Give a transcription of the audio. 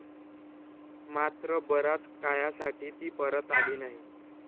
मात्र बराच काळासाठी ती परत आली नाही.